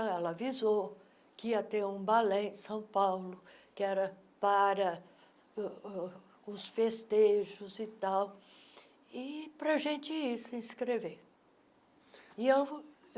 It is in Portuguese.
Ela avisou que ia ter um balé em São Paulo, que era para uh uh os festejos e tal, e para a gente ir se inscrever.